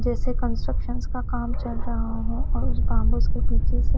जैसे कंस्ट्रक्शन का काम चल रहा है और इस बॉम्बे के पीछे से--